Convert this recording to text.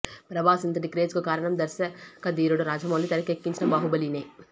ప్రభాస్ ఇంతటి క్రేజ్ కు కారణం దర్శకధీరుడు రాజమౌళి తెరకెక్కించిన బాహుబలినే